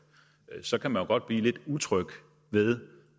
og så kan man jo godt blive lidt utryg ved